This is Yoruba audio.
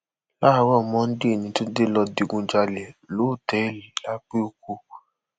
láàárọ monde ní túnde lọọ digunjalè lọtẹẹlì